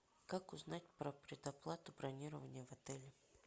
как узнать про предоплату бронирования в отеле